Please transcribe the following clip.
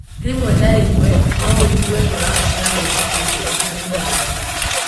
Rĩmwe na rĩmwe no ũigue ta ũrabatara gwĩka ũndũ ũtarĩ mwega.